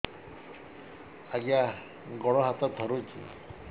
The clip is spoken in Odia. ଆଜ୍ଞା ଗୋଡ଼ ହାତ ଥରୁଛି